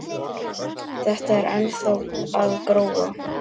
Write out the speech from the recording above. Þetta er ennþá að gróa.